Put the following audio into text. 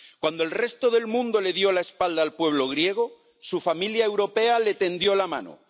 Cuando el resto del mundo le dio la espalda al pueblo griego, su familia europea le tendió la mano.